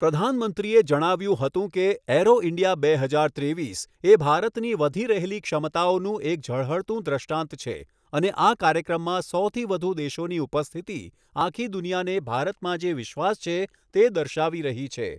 પ્રધાનમંત્રીએ જણાવ્યું હતું કે, એરો ઇન્ડિયા બે હજાર ત્રેવીસ એ ભારતની વધી રહેલી ક્ષમતાઓનું એક ઝળહળતું દૃષ્ટાંત છે અને આ કાર્યક્રમમાં સોથી વધુ દેશોની ઉપસ્થિતિ આખી દુનિયાને ભારતમાં જે વિશ્વાસ તે દર્શાવી રહી છે.